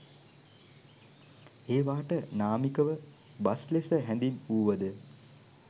ඒවාට නාමිකව බස් ලෙස හැඳින්වූවද